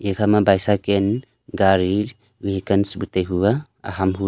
ekha ma bicycan gari vehicans bu taihu aa aham hu--